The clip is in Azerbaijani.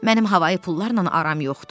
Mənim hava pulularla aram yoxdur.